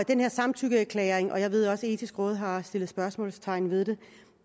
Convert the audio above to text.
den her samtykkeerklæring og jeg ved også at det etiske råd har sat spørgsmålstegn ved det